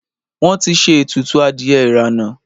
Wọn ti ṣe ètùtù adìẹ ìrànà